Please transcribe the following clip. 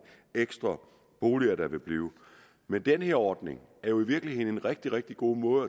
ekstra boliger der vil blive men den her ordning er jo i virkeligheden en rigtig rigtig god måde